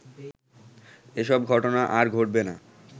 এসব ঘটনা আর ঘটবেনা